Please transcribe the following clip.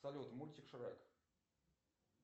салют мультик шрек